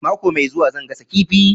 Mako mai zuwa zan gasa kifi